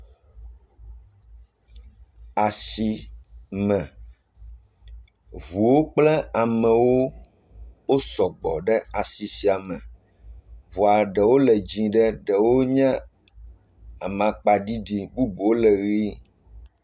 Asime, ŋuawo kple amewo wo sɔgbɔ ɖe asi sia me ŋua ɖewo le dzɛ̃ ɖe ɖewo nye amakpaɖiɖi bubuwo le ʋe.